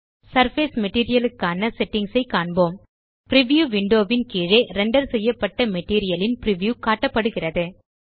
surface material க்கான settings ஐ காண்போம் பிரிவ்யூ விண்டோ ன் கீழே ரெண்டர் செய்யப்பட்ட மெட்டீரியல் ன் பிரிவ்யூ காட்டப்படுகிறது